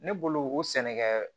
Ne bolo o sɛnɛ kɛɛ